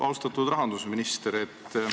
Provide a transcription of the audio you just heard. Austatud rahandusminister!